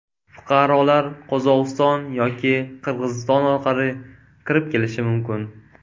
Fuqarolar Qozog‘iston yoki Qirg‘iziston orqali kirib kelishi mumkin.